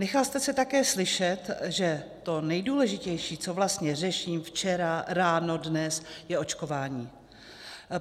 Nechal jste se také slyšet, že to nejdůležitější, co vlastně řeším, včera, ráno, dnes, je očkování.